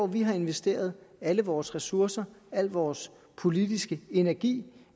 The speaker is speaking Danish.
vi har investeret alle vores ressourcer al vores politiske energi